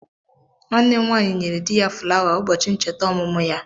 Nwanne m nwanyị nyere di ya fulawa ụbọchị ncheta ọmụmụ ya.